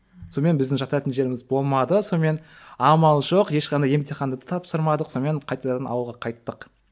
сонымен біздің жататын жеріміз болмады сонымен амал жоқ ешқандай емтиханды тапсырмадық сонымен қайтадан ауылға қайттық